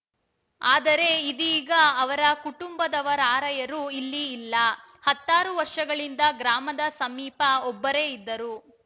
ಆದರೆ ಇದೀಗ ಅವರ ಕುಟುಂಬದವರಾರ‍ಯರು ಇಲ್ಲಿ ಇಲ್ಲ ಹತ್ತಾರು ವರ್ಷಗಳಿಂದ ಗ್ರಾಮದ ಸಮೀಪ ಒಬ್ಬರೇ ಇದ್ದರು